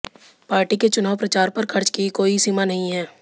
party के चुनाव प्रचार पर खर्च की कोई सीमा नहीं है